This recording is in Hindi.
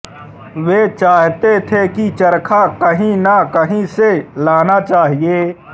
वे चाहते थे कि चरखा कहीं न कहीं से लाना चाहिए